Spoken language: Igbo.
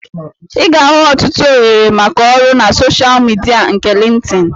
Ị ga-ahụ ọtụtụ ohere maka ọrụ na soshal midia nke Lintin